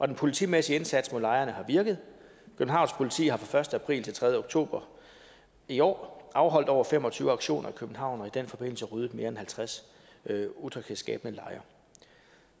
den politimæssige indsats mod lejrene har virket københavns politi har fra første april til tredje oktober i år afholdt over fem og tyve aktioner i københavn og i den forbindelse ryddet mere end halvtreds utryghedsskabende lejre